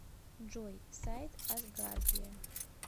джой сайт асгардия